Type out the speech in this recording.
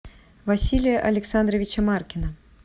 василия александровича маркина